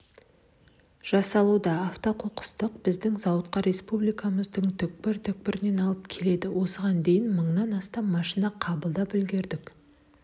жасалуда автоқоқысты біздің зауытқа республикамыздың түпкір-түпкірінен алып келеді осыған дейін мыңнан астам машина қабылдап үлгердік